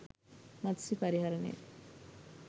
මත්ස්‍ය පරිහරණය